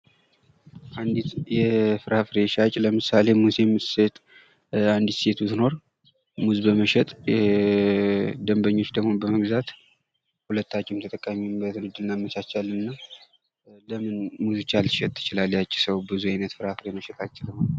የፍራፍሬ ሻጭ ለምሳሌ ሙዝ የምትሸጥ አንዲት ሴት ብትኖር ሙዝ በመሸጥ ደንበኞች ደግሞ በመግዛት ሁለታቸውም ተጠቃሚ የሚሆኑበትን መንገድ እናመቻቻለን። ለምን ሙዝ ብቻ ልትሸጥ ትችላለች ያቺ ሰው ብዙ ዓይነት ፍራፍሬ መሸጥ አትችልም?